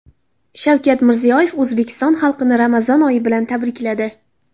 Shavkat Mirziyoyev O‘zbekiston xalqini Ramazon oyi bilan tabrikladi .